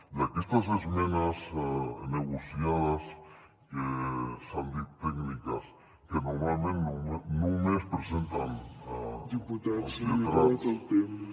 i aquestes esmenes negociades que s’han dit tècniques que normalment només presenten els lletrats